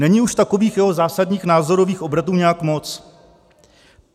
Není už takových jeho zásadních názorových obratů nějak moc?